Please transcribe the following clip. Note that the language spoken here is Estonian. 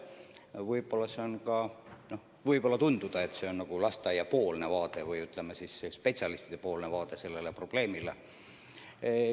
Võib-olla see on – tundub nii –lasteaedade või, ütleme, spetsialistide vaade sellele probleemile.